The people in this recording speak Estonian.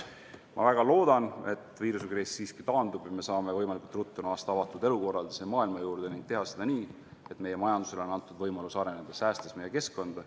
Ma väga loodan, et viirusekriis siiski taandub ja me saame võimalikult ruttu naasta avatud elukorraldusega maailma juurde ning teha seda nii, et meie majandusele on antud võimalus areneda, säästes meie keskkonda.